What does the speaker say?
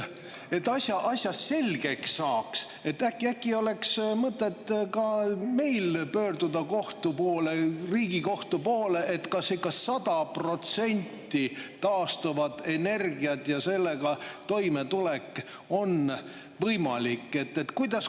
Et asja selgeks saaks, äkki oleks mõtet ka meil pöörduda kohtu poole, Riigikohtu poole, et kas ikka 100% taastuvad energiad ja sellega toimetulek on võimalik.